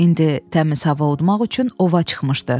İndi təmiz hava udmaq üçün ova çıxmışdı.